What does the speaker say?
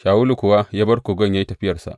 Shawulu kuwa ya bar kogon ya yi tafiyarsa.